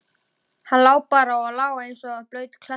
Hann lá bara og lá eins og blaut klessa.